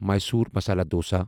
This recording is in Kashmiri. میصور مسالا ڈوسا